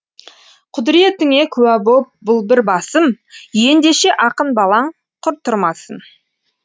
құдіретіңе куә боп бұл бір басым ендеше ақын балаң құр тұрмасын